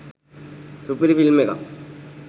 සුපිරි ෆිල්ම් එකක්